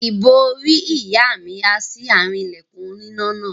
Ìbòrí ìyá há sí àárín ilẹ̀kùn aloná náà.